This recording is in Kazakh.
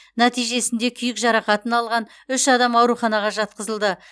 нәтижесінде күйік жарақатын алған үш адам ауруханаға жатқызылды